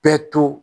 Bɛɛ to